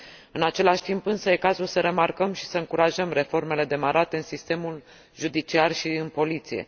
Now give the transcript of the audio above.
În același timp, însă, este cazul să remarcăm și să încurajăm reformele demarate în sistemul judiciar și în poliție.